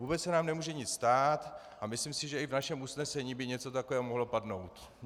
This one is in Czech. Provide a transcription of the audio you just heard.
Vůbec se nám nemůže nic stát a myslím si, že i v našem usnesení by něco takového mohlo padnout.